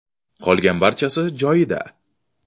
Qolgan barchasi joyida.